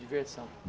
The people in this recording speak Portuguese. Diversão.